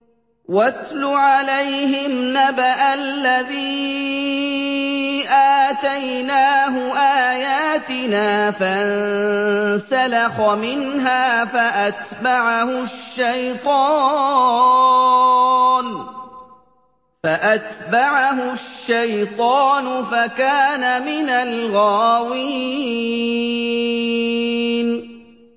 وَاتْلُ عَلَيْهِمْ نَبَأَ الَّذِي آتَيْنَاهُ آيَاتِنَا فَانسَلَخَ مِنْهَا فَأَتْبَعَهُ الشَّيْطَانُ فَكَانَ مِنَ الْغَاوِينَ